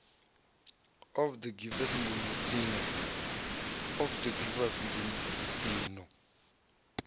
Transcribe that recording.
of the givers nḓuni ino